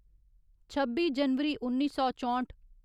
छब्बी जनवरी उन्नी सौ चौंठ